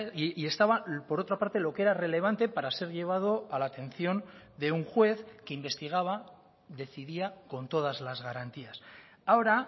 y estaba por otra parte lo que era relevante para ser llevado a la atención de un juez que investigaba decidía con todas las garantías ahora